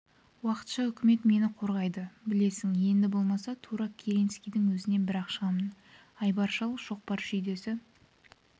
уақытша үкімет мені қорғайды білесің енді болмаса тура керенскийдің өзінен бір-ақ шығамын айбар шал шоқпар шүйдесі